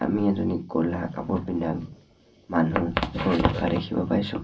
আমি এজনী ক'লা কাপোৰ পিন্ধা মানুহ গৈ থকা দেখিব পাইছোঁ।